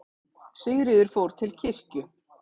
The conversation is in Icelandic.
Sigríður fór til kirkju.